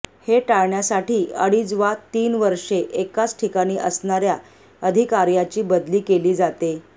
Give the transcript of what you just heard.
हे टाळण्यासाठी अडीच वा तीन वर्षे एकाच ठिकाणी असणार्या अधिकार्यांची बदली केली जाते